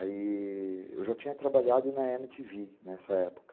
Aí, eu já tinha trabalhado na eme te vi, nessa época.